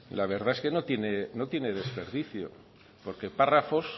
la verdad es que no tiene desperdicio porque párrafos